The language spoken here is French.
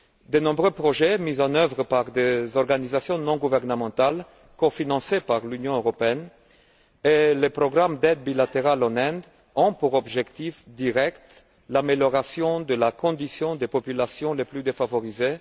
De nombreux projets mis en œuvre par des organisations non gouvernementales, cofinancés par l'Union européenne, et le programme d'aide bilatérale en Inde ont pour objectif direct l'amélioration de la condition des populations les plus défavorisées.